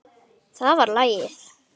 Það var lagið.